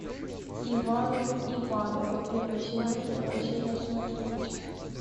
ивановы ивановы первый сезон первая серия смотреть